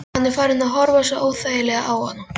Hann er farinn að horfa svo óþægilega á hana.